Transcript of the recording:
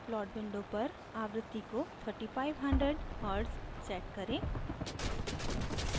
plot window पर आवृत्ति को 3500hz set करें